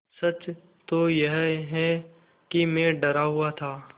सच तो यह है कि मैं डरा हुआ था